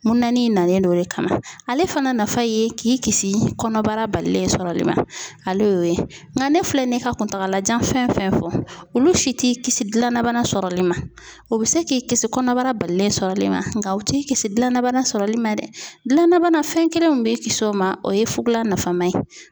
Mununani nalen do o de kama ale fana nafa ye k'i kisi kɔnɔbara balilen sɔrɔli ma ale y'o ye nka ne filɛ nin ye ka kuntagala jan fɛn fɛn fɔ olu si t'i kisi dilanna bana sɔrɔli ma o bɛ se k'i kisi kɔnɔbara balilen sɔrɔli ma nka u t'i kisi dilanna bana sɔrɔli ma dɛ dilanna bana fɛn kelen min b'i kisi o ma o ye fugola nafama ye.